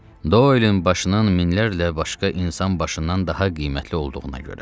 Doylen başının minlərlə başqa insan başından daha qiymətli olduğuna görə.